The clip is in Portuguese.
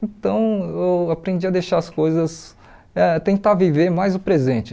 Então, eu aprendi a deixar as coisas, eh tentar viver mais o presente.